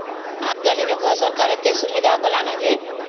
ଆଜି କଲି ଦେଖ ସରକାର ଏତେ ସୁବିଧା କଲାଣି ଜେ